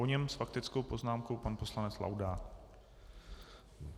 Po něm s faktickou poznámkou pan poslanec Laudát.